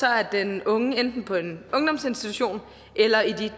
er den unge enten på en ungdomsinstitution eller i